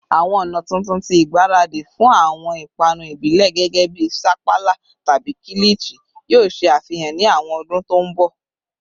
Awọn ọna tuntun ti igbaradi fun awọn ipanu ibile gẹgẹbi sapala tabi kilichi yoo ṣe afihan ni awọn ọdun to nbo?